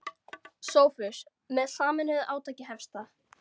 SOPHUS: Með sameinuðu átaki hefst það.